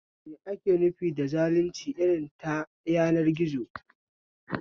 Me ake nufi da zalunci irin ta yanar gizo?